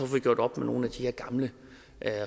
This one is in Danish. vi gjort op med nogle af de her gamle